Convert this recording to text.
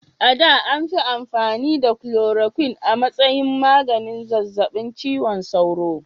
A da, an fi amfani da chloroquine a matsayin maganin zazzabin cizon sauro.